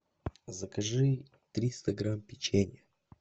закажи триста грамм печенья